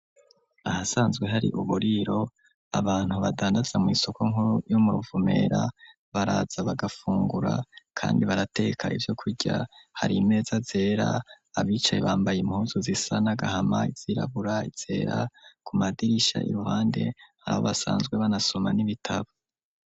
Ahasanzwe hari, uburiro, abantu badandaza mw’isoko nkuru, yo mu Ruvumera, baraza bagafungura; kandi barateka, ivyo kurya; hari imeza zera, abicaye, bambaye impuzu, zisa n'agahama, izirabura, izera; ku madirisha, iruhande, hari aho basanzwe, banasoma n'ibitabo.